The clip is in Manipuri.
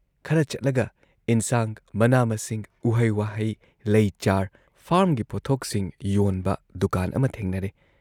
ꯈꯔ ꯆꯠꯂꯒ ꯏꯟꯁꯥꯡ, ꯃꯅꯥ ꯃꯁꯤꯡ ꯎꯍꯩ ꯋꯥꯍꯩ, ꯂꯩ ꯆꯥꯔ, ꯐꯥꯔꯝꯒꯤ ꯄꯣꯠꯊꯣꯛꯁꯤꯡ ꯌꯣꯟꯕ ꯗꯨꯀꯥꯟ ꯑꯃ ꯊꯦꯡꯅꯔꯦ ꯫